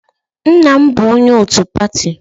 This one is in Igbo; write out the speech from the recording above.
Nna m bụ onye otu pati.